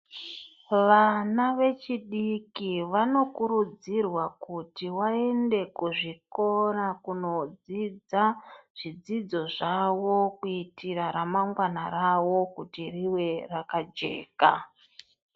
Vana vechidiki vanokurudzirwa kuti vaende kuzvikora kundodzidza zvidzidzo zvawo kuitira ramangwana rawo rive rakajeka.